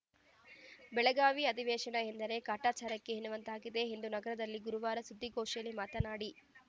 ಬೆಳಗಾವಿ ಅಧಿವೇಶನ ಎಂದರೆ ಕಾಟಾಚಾರಕ್ಕೆ ಎನ್ನುವಂತಾಗಿದೆ ಎಂದು ನಗರದಲ್ಲಿ ಗುರುವಾರ ಸುದ್ದಿಗೋಷ್ಠಿಯಲ್ಲಿ ಮಾತನಾಡಿ